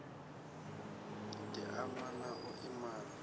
di ama na u iman